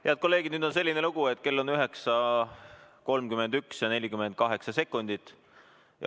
Head kolleegid, nüüd on selline lugu, et kell on 9.31 ja 48 sekundit.